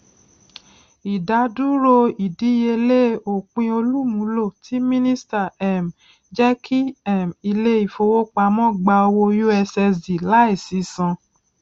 ìdádúró ìdíyelé òpinolùmúlò tí mínísíta um jẹkí um ilé ìfowópamọ gbà owó ussd láìsí san